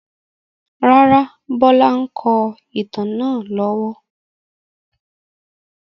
Rárá, Bọlá ń kọ ìtàn náà lọ́wọ́.